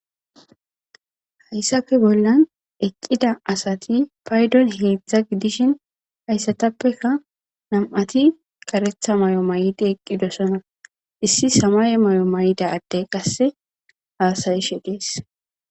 Haysape bollan eqida asati paydan hedzdza gidiko haysatapeka nam'ati karetha mayo mayidi eqidosona issi samaye mayida adey qasseka hasayishe dess